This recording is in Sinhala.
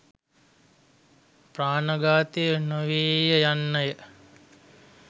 ප්‍රාණඝාතය නොවේය යන්නය.